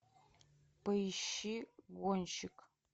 поищи гонщик